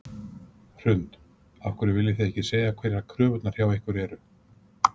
Hrund: Af hverju viljið þið ekki segja hverjar kröfurnar hjá ykkur eru?